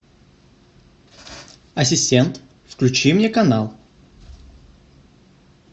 ассистент включи мне канал